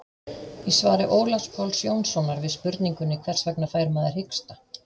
Í svari Ólafs Páls Jónssonar við spurningunni Hvers vegna fær maður hiksta?